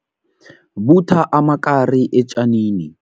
Ubutha amakari etjanini.